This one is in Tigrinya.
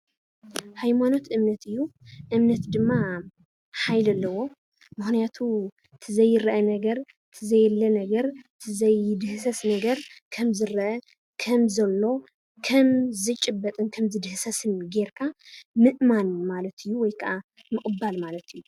ሃይማኖት እምነት እዩ። እምነት ድማ ሓይሊ ኣለዎ፡፡ ምክንያቱ እቲ ዘይረአ ነገር ፣እቲ ዘየለ ነገር፣ እቲ ዘይድህሰስ ነገር፣ ከምዝረአ፣ ከም ዘሎ ከምዝጭበጥን ከምዝድህሰስን ጌርካ ምእማን ማለት እዩ ወይ ከዓ ምቅባል ማለት እዩ፡፡